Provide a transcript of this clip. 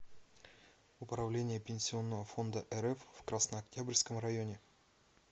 управление пенсионного фонда рф в краснооктябрьском районе